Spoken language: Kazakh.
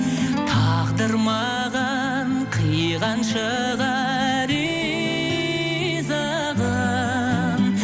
тағдыр маған қиған шығар ризығын